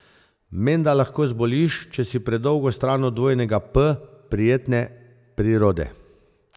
Menda lahko zboliš, če si predolgo stran od dvojnega P, prijetne prirode.